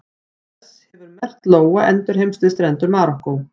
Auk þess hefur merkt lóa endurheimst við strendur Marokkó.